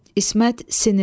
İsmət sinirli.